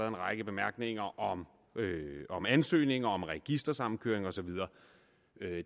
en række bemærkninger om ansøgninger om registersammenkøring og så videre